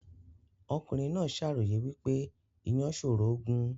Ọmọkùnrin náà ṣàròyè wípé ìyàn ṣòro gùn